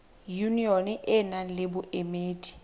yunione e nang le boemedi